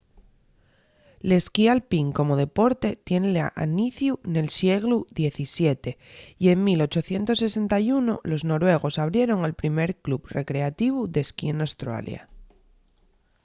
l’esquí alpín como deporte tien l’aniciu nel sieglu xvii y en 1861 los noruegos abrieron el primer club recreativu d’esquí n’australia